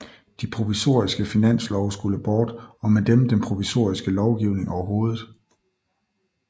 De provisoriske finanslove skulle bort og med dem den provisoriske lovgivning overhovedet